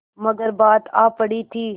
मगर बात आ पड़ी थी